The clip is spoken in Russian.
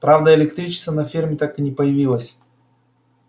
правда электричества на ферме так и не появилось